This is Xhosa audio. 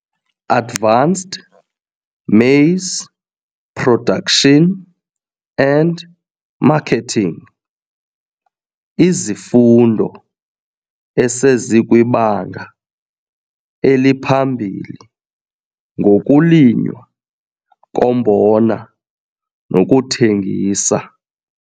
Advanced Maize Production and Marketing - Izifundo esezikwiBanga eliPhambili ngokuLinywa koMbona nokuThengisa